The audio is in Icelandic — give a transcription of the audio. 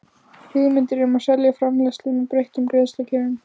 hugmyndir um að selja framleiðslu með breyttum greiðslukjörum.